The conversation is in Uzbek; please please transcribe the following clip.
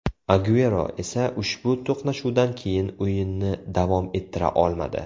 Aguero esa ushbu to‘qnashuvdan keyin o‘yinni davom ettira olmadi.